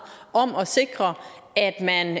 om at sikre at